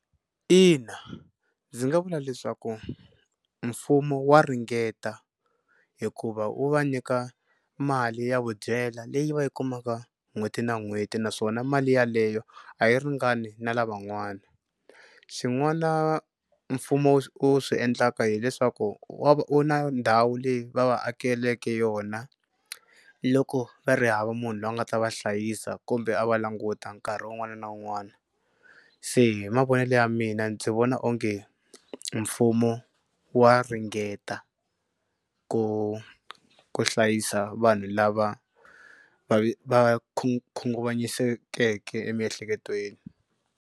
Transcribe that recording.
Ina ndzi nga vula leswaku mfumo wa ringeta hikuva wu va nyika mali ya vudyela leyi va yi kumaka n'hweti na n'hweti naswona mali yaleyo a yi ringani na lavan'wana. Xin'wana mfumo u swi endlaka hileswaku wu na ndhawu leyi va va akeleke yona loko va ri hava munhu loyi a nga ta va hlayisa kumbe a va languta nkarhi wun'wana na wun'wana. Se hi mavonelo ya mina ndzi vona onge mfumo wa ringeta ku ku hlayisa vanhu lava va va khunguvanyisekeke emiehleketweni.